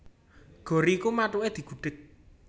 Gori iku mathuke digudhèg